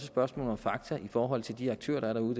spørgsmål om fakta i forhold til de aktører der er derude